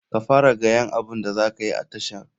Ka fara gayan abun da zakayi a tashar.